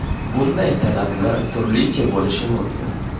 Bunday talablar turlicha bo‘lishi mumkin.